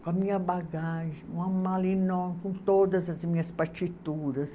Com a minha bagagem, uma mala enorme, com todas as minhas partituras.